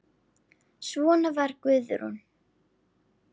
Svona var Guðrún.